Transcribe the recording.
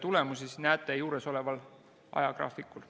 Neid näete juuresoleval ajagraafikul.